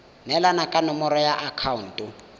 neelana ka nomoro ya akhaonto